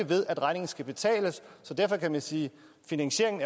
ved at regningen skal betales så derfor kan man sige at finansieringen